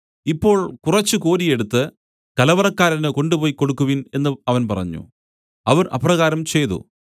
ഇപ്പോൾ കുറച്ച് കോരിയെടുത്ത് കലവറക്കാരന് കൊണ്ടുപോയി കൊടുക്കുവിൻ എന്നു അവൻ പറഞ്ഞു അവർ അപ്രകാരം ചെയ്തു